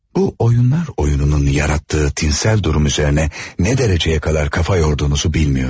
Bu oyunlar oyununun yarattığı tinsel durum üzərinə nə dərəcəyə qədər kafa yorduğunuzu bilmiyorum.